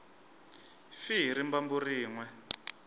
fi hi rimbambu rin we